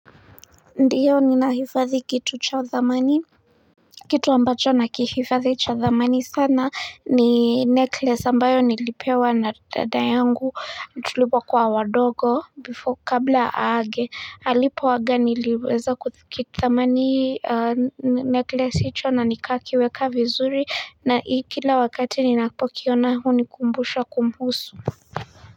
Ndiyo ni nahifadhi kitu cha thamani kitu ambacho na kihifadhi cha thamani sana ni necklace ambayo nilipewa na dada yangu tulipokuwa wadogo bifo kabla aage halipo aga niliweza kuthikithamani necklace hicho na nikakiweka vizuri na kila wakati ninapokiona huni kumbusha kumhusu.